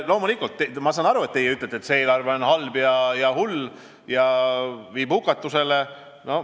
Loomulikult, ma saan aru, kui teie ütlete, et see eelarve on halb ja hull ning viib hukatusse.